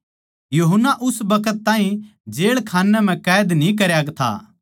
यूहन्ना उस बखत ताहीं जेळखान्ने म्ह कैद न्ही करया था